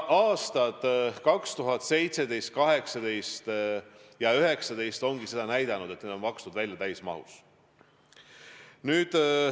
Aastad 2017, 2018 ja 2019 ongi näidanud, et need on makstud välja täismahus.